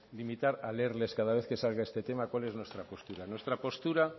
limitar a leerles cada vez que salga este tema cual es nuestra postura nuestra postura